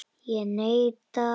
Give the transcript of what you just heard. Ég neita.